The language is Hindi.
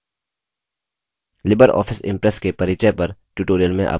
लिबर ऑफिस impress के परिचय पर tutorial में आपका स्वागत है